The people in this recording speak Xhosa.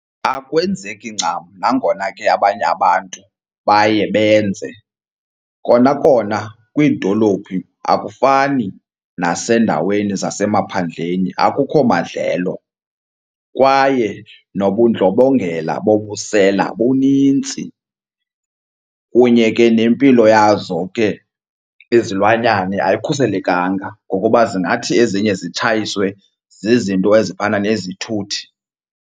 Akwenzeki ncam nangona ke abanye abantu baye benze. Kona kona kwiidolophi akufani nasendaweni zasemaphandleni, akukho madlelo kwaye nobundlobongela bobusela bunintsi. Kunye ke nempilo yazo ke izilwanyane ayikhuselekanga ngokuba zingathi ezinye zitshayiswe zizinto ezifana nezithuthi.